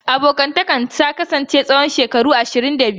Abokantakarsu ta kasance tsawon shekaru ashirin da biyu.